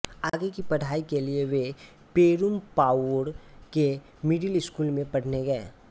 आगे की पढ़ाई के लिए वे पेरुमपावूर के मिडिल स्कूल में पढ़ने गए